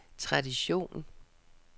tradition